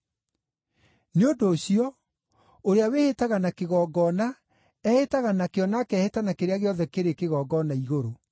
Nĩ ũndũ ũcio, ũrĩa wĩhĩtaga na kĩgongona, ehĩtaga nakĩo na akehĩta na kĩrĩa gĩothe kĩrĩ kĩgongona-igũrũ.